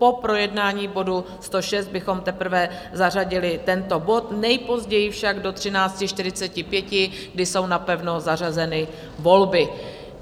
Po projednání bodu 106 bychom teprve zařadili tento bod, nejpozději však do 13.45, kdy jsou napevno zařazeny volby.